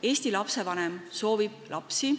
Eesti inimene soovib lapsi.